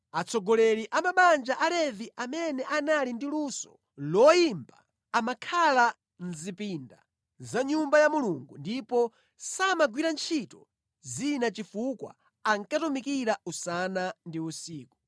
Atsogoleri a mabanja a Alevi, amene anali ndi luso loyimba, amakhala mʼzipinda za Nyumba ya Mulungu ndipo samagwira ntchito zina chifukwa ankatumikira usana ndi usiku.